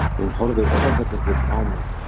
Hún horfir örvæntingarfull á mig.